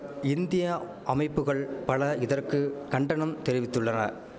India அமைப்புகள் பல இதற்கு கண்டனம் தெரிவித்துள்ளன